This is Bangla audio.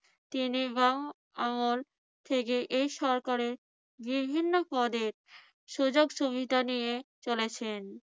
তিনি বাঙ্গ আমল থেকে এই সরকারের বিভিন্ন পদের সুযোগ সুবিধা নিয়ে চলেছেন।